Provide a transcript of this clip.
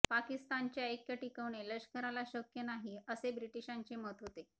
पाकिस्तानचे ऐक्य टिकवणे लष्कराला शक्य नाही असे ब्रिटिशांचे मत होते